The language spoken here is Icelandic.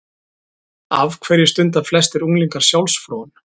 Af hverju stunda flestir unglingar sjálfsfróun?